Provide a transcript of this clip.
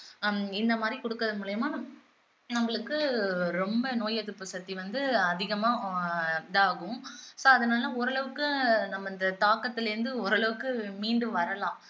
ஹம் இந்த மாதிரி குடுக்குறது மூலியமா நம்மளுக்கு ரொம்ப நோய் எதிர்ப்பு சக்தி வந்து அதிகமா ஆஹ் இதாகும் so அதனால ஓரளவுக்கு நம்ம இந்த தாக்கத்துல இருந்து ஓரளவுக்கு மீண்டு வரலாம்